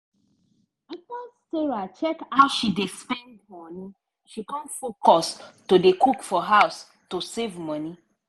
after sarah check how she dey spend money she con focus to dey cook for house to save money.